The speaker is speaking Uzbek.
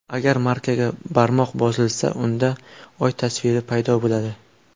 Agar markaga barmoq bosilsa, unda Oy tasviri paydo bo‘ladi.